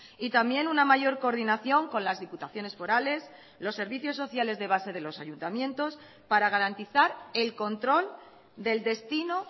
y también una mayor coordinación con las diputaciones forales los servicios sociales de base de los ayuntamientos para garantizar el control del destino